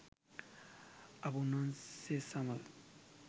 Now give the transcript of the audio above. අප උන්වහන්සේ සමග